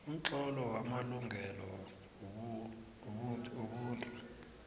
umtlolo wamalungelo wobuntu